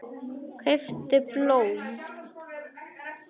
Kauptu blóm.